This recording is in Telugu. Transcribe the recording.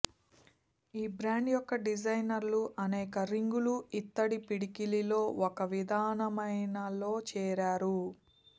ఈ బ్రాండ్ యొక్క డిజైనర్లు అనేక రింగులు ఇత్తడి పిడికిలిలో ఒక విధమైన లో చేరారు